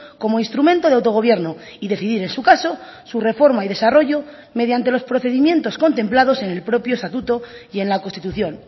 como instrumento de autogobierno y decidir en su caso su reforma y desarrollo mediante los procedimientos contemplados en el propio estatuto y en la constitución